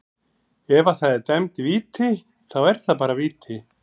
Ef að það er dæmd víti, þá er það bara víti.